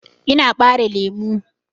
Ina ɓare lemu.